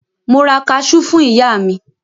Mo ra kaṣú fún ìyá mi.